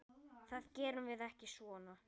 Það gerum við ekki svona.